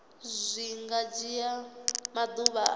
zwi nga dzhia maḓuvha a